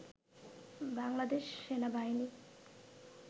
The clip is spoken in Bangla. বাংলাদেশ সেনাবাহিনী